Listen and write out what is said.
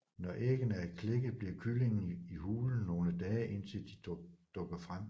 Når æggene er klækket bliver kyllingerne i hulen nogle dage indtil de dukker frem